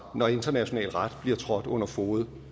når international ret bliver trådt under fode